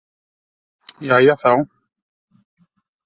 Jæja þá.